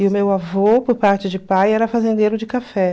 E o meu avô, por parte de pai, era fazendeiro de café.